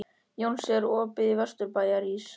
Jónsi, er opið í Vesturbæjarís?